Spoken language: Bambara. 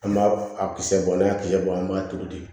An b'a a kisɛ bɔ n'i y'a kisɛ bɔ an b'a turu ten